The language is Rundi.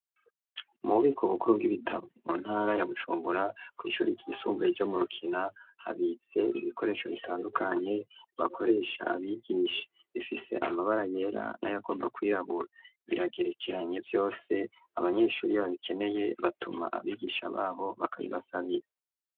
Mu bubiko bukuru bw'ibitabo mu ntara ya Bujumbura, kw'ishure ryisumbuye ryo mu rukina habitse ibikoresho bitandukanye bakoresha abigisha, bifise amabara yera n'ayagomba kwirabura, biragerekeranye vyose abanyeshuri babikeneye batuma abigisha babo bakabibasabira.